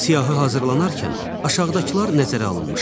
Siyahı hazırlanarkən aşağıdakılar nəzərə alınmışdır.